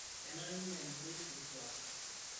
Kenare neanyiti olkuak